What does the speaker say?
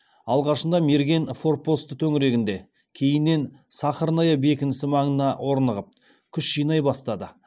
алғашында мерген форпосты төңірегінде кейіннен сахарная бекінісі маңына орнығып күш жинай бастады